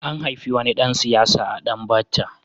An haifi wani ɗan siyasa a Danbatta.